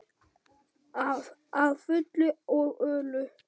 Að fullu og öllu.